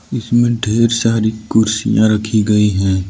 इसमें ढेर सारी कुर्सियां रखी गई हैं।